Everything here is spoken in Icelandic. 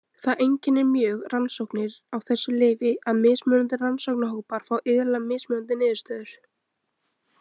Það einkennir mjög rannsóknir á þessu lyfi að mismunandi rannsóknarhópar fá iðulega mismunandi niðurstöður.